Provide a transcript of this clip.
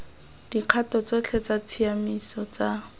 dikgato tsotlhe tsa tshiamiso tsa